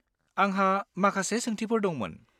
आंहा माखासे सोंथिफोर दंमोन।